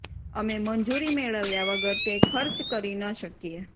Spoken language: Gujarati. અમે મંજૂરી મેળવ્યા વગર તે ખર્ચ કરી ન શકીએ